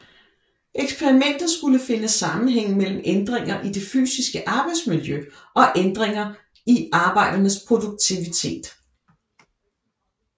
Eksperimentet skulle finde sammenhænge mellem ændringer i det fysiske arbejdsmiljø og ændringer i arbejdernes produktivitet